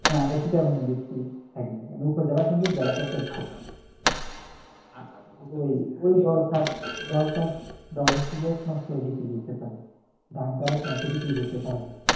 হ্যাঁ আমরা চিটাগাং এর ভিতরে থাকি মানে উপজেলার সন্দ্বীপ উপজেলা চট্টগ্রাম দল চাষ দল হচ্ছে যে একমাস পরে বিক্রি করতে পারে ধান তো আর এক মাসে বিক্রি করতে পারে না